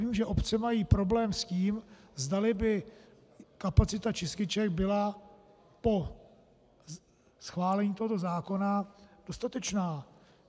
Vím, že obce mají problém s tím, zdali by kapacita čističek byla po schválení tohoto zákona dostatečná.